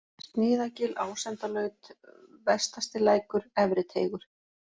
Sniðagil, Ásendalaut, Vestastilækur, Efri-Teigur